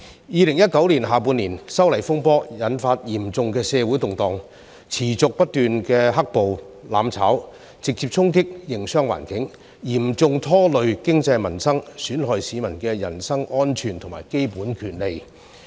2019年下半年，修例風波引發嚴重的社會動盪，持續不斷的"黑暴"、"攬炒"，直接衝擊營商環境，嚴重拖累經濟民生，損害市民的人身安全和基本權利。